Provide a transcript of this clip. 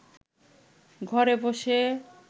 ঘরে বসে